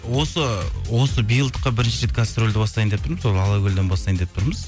осы биылдыққа бірінші рет гастрольді бастайын деп тұрмыз ол алакөлден бастайын деп тұрмыз